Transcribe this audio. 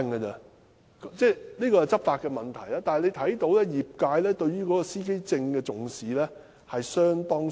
雖然這是執法問題，但可見業界對司機證不太重視。